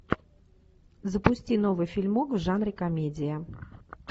запусти новый фильмок в жанре комедия